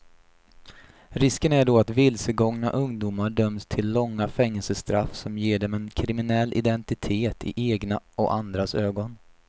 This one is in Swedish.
Risken är då att vilsegångna ungdomar döms till långa fängelsestraff som ger dem en kriminell identitet i egna och andras ögon.